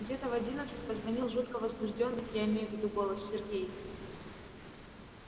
где-то в одиннадцать позвонил жутко возбуждённый я имею в виду голос сергей